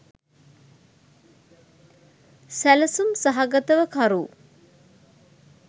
සැලසුම් සහගතව කරු